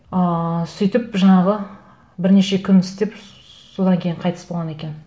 ыыы сөйтіп жаңағы бірнеше күн істеп содан кейін қайтыс болған екен